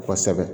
Kɔsɛbɛ